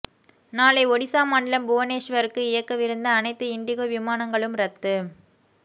நாளை ஒடிஷா மாநிலம் புவனேஸ்வர்க்கு இயக்கவிருந்த அனைத்து இண்டிகோ விமானங்களும் ரத்து